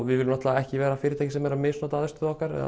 við viljum ekki vera fyrirtæki sem er að misnota aðstöðu okkar eða